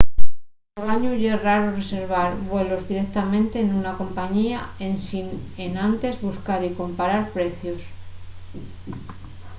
anguaño ye raro reservar vuelos directamente nuna compañía ensin enantes buscar y comparar precios